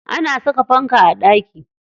An saka fanka a ɗaki.